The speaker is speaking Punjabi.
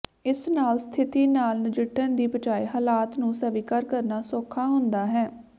ਇਸ ਨਾਲ ਸਥਿਤੀ ਨਾਲ ਨਜਿੱਠਣ ਦੀ ਬਜਾਏ ਹਾਲਾਤ ਨੂੰ ਸਵੀਕਾਰ ਕਰਨਾ ਸੌਖਾ ਹੁੰਦਾ ਹੈ